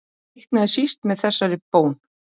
Reiknaði síst með þessari bón.